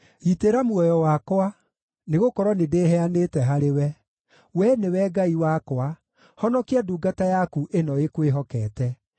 Gitĩra muoyo wakwa, nĩgũkorwo nĩndĩheanĩte harĩwe. Wee nĩwe Ngai wakwa; honokia ndungata yaku ĩno ĩkwĩhokete.